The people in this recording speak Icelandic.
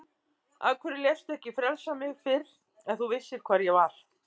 Af hverju léstu ekki frelsa mig fyrr ef þú vissir hvar ég var.